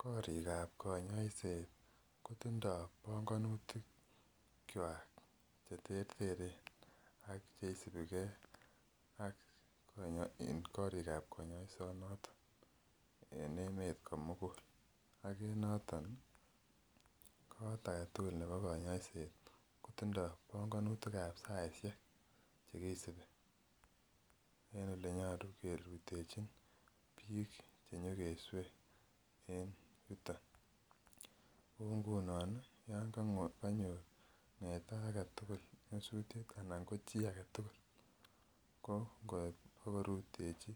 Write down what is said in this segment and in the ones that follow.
Korikab konyoiset kotindo bongonutikwak cheterteren ak cheisipikee ak korikab konyoisonoton en emet komukul ak en noton ko koot aketukul nebo konyoiset kotindo bongonutikab saishek chekisibi en elenyolu kerutechin biik chenyokeswe en yuton, kou ngunon yoon konyo ng'eta aketukul nyosutiet anan ko chii aketukul ko ng'orutechi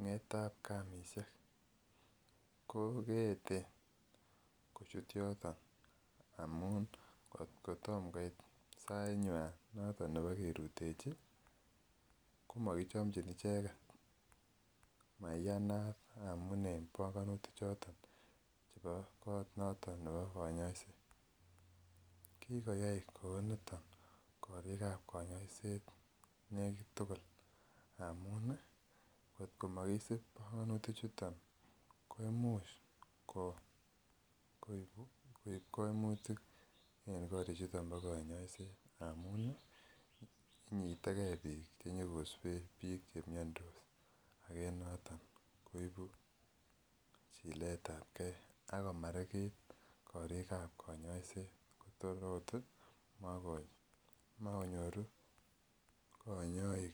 ngetabkamisiek ko keeten kochut yoton amun kot ko tom koit ssainywan nebo kerutechi komokichomchin icheket, maiyanat amun en bongonutichoton chebo koot noton nebo konyoiset, kikoyai kouniton korikab konyoiset nekit tukul amun kot komokisib bongonutichu komuch koib koibu koimutik en korichuton bo konyoiset amun inyitekee biik chenyokoswe biik chemiondos ak en noton koibu chiletabke ak komarikit korikab konyoiset kotor oot komokonyoru konyoik.